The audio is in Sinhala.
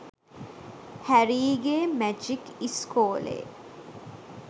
හැරීගේ මැජික් ඉස්කෝලේ